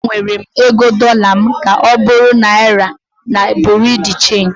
Agbanwere m ego dollar m ka ọ bụrụ Naira na Bureau de Change